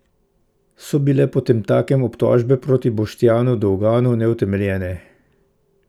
So bile potemtakem obtožbe proti Boštjanu Dolganu neutemeljene?